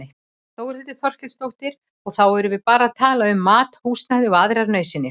Þórhildur Þorkelsdóttir: Og þá erum við bara að tala um mat, húsnæði og aðrar nauðsynjar?